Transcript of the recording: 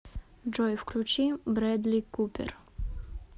джой включи брэдли купер